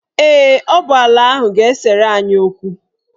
Ee, ọ bụ ala ahụ ga-esere anyị okwu.